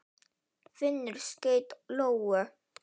Finnur skaut lóu.